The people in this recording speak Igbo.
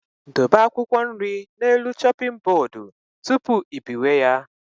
Dobe akwụkwọ nri n'elu shoping bodu tụpụ ị biwe ya